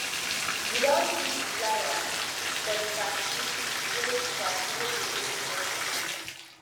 you don see di flier for di party wey di party wey dey hold next month